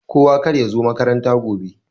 Kowa karya zo makaranta gobe.